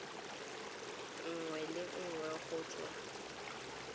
nngwe le nngwe go tswa